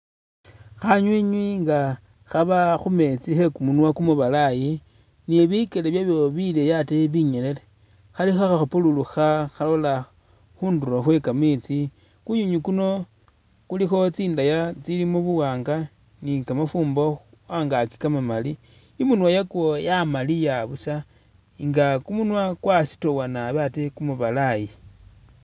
Khanywinywi nga khaba khu meetsi khe kumunwa kumubalayi ni bikele byabyo bileeyi ate binyelele khali khakha pululukha kholola khundulo khwe kameetsi. Kunywinywi kuno kulikho tsindaya tsilimo buwaanga ni kamafumbo angaaki kamamali, i'munwa yakwo yamaliya busa nga kumunwa kwasitowa nabi ate kumubalayi.